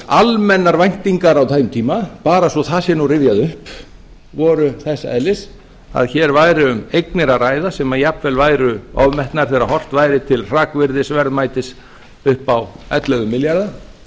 almennar væntingar á þeim tíma bara svo það sé nú rifjað upp voru þess eðlis að hér væri um eignir að ræða sem jafnvel væru ofmetnar þegar horft væri til hrakvirðisverðmætis upp á ellefu milljarða